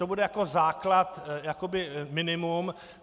To bude jako základ, jakoby minimum.